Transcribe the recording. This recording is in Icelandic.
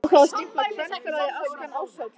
Á þá var stimplað: KVENFÉLAGIÐ ÆSKAN ÁRSHÁTÍÐ.